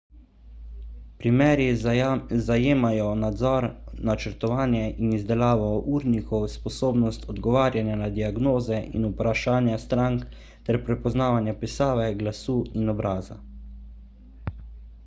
primeri zajemajo nadzor načrtovanje in izdelavo urnikov sposobnost odgovarjanja na diagnoze in vprašanja strank ter prepoznavanje pisave glasu in obraza